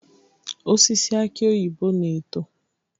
Osisi aki oyibo na-eto.